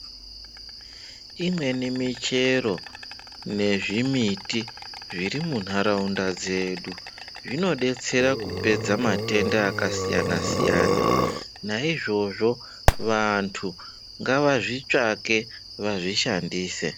Imweni michero nezvimiti zviri munharaunda dzedu zvinodetsera kupedza matenda akasiyana siyana naizvozvo vantu ngavazvitsvake vazvishandise.